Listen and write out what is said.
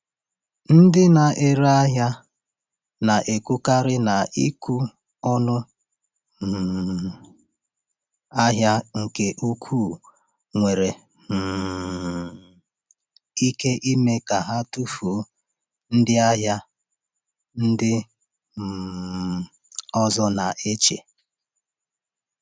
Ndị na-ere ahịa na-ekwukarị na ịkwụ ọnụ um ahịa nke ukwuu nwere um ike ime ka ha tufuo ndị ahịa ndị um ọzọ na-eche.